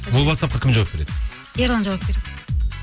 ол уатсапқа кім жауап береді ерлан жауап береді